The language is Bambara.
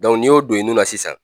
N'i y'o don nun na sisan